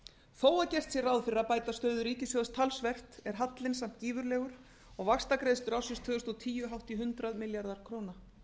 þó er gert ráð fyrir að bæta stöðu ríkissjóðs talsvert er hallinn samt gífurlegur og vaxtagreiðslur ársins tvö þúsund og tíu hátt í hundrað milljarðar króna